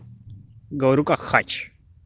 говорю как хач